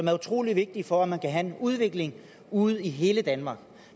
er utrolig vigtige for at man kan have en udvikling ude i hele danmark